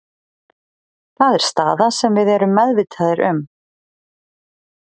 Það er staða sem við erum meðvitaðir um.